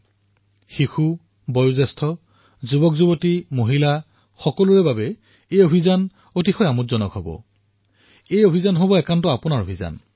প্ৰত্যেকৰে বাবে শিশু বৃদ্ধ যুৱ মহিলা সকলোৰে বাবে এয়া বৃহৎ আকৰ্ষণীয় অভিযান হব আৰু এয়া আপোনালোকৰ নিজা হব